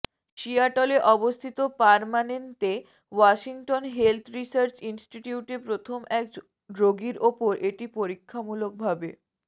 সিয়াটলে অবস্থিত পারমানেনতে Washington health research ইনস্টিটিউটে প্রথম একজন রোগীর উপর এটি পরীক্ষামূলকভাবে